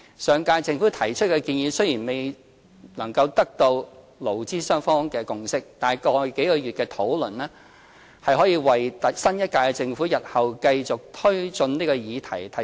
上屆政府提出的建議雖然未能取得勞資雙方的共識，但過去數月的討論提供了基礎，令新一屆政府日後能繼續推進這議題。